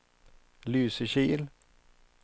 Lysekil